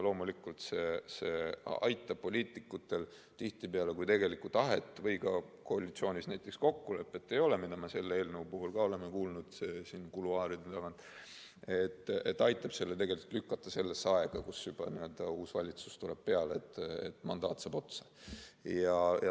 Loomulikult, see aitab poliitikutel tihtipeale, kui tegelikku tahet või ka koalitsioonis kokkulepet ei ole – seda me oleme selle eelnõu puhul ka kuluaarides kuulnud –, lükata selle sellesse aega, kui juba uus valitsus tuleb peale ja mandaat saab otsa.